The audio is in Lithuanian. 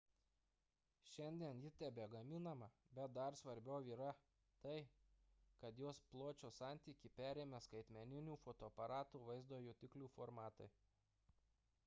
šiandien ji tebegaminama bet dar svarbiau yra tai kad jos pločio santykį perėmė skaitmeninių fotoaparatų vaizdo jutiklių formatai